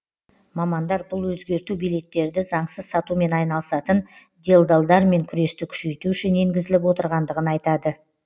мамандар бұл өзгерту билеттерді заңсыз сатумен айналысатын делдалдармен күресті күшейту үшін енгізіліп отырғандығын айтады